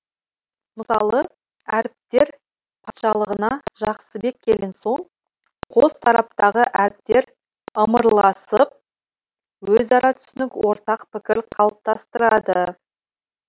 мысалы әріптер патшалығына жақсыбек келген соң қос тараптағы әріптер ымыраласып өзара түсінік ортақ пікір қалыптастырады